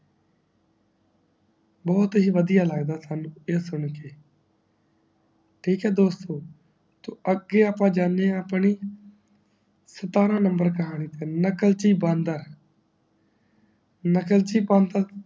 ਬਹੁਤ ਹੀ ਵੜਿਆ ਲੱਗਦਾ ਸਾਨੂ ਇਹ ਸੁਣਕੇ ਠ੍ਕ ਹੈ ਦੋਸਤੋ ਤੇ ਅਗੇ ਅੱਪਾ ਜਾਂਦੇ ਆ ਆਪਣੀ ਸਟਾਰ ਨੰਬਰ ਕਹਾਣੀ ਤੇ ਨਕਲਚੀ ਬਾਂਦਰ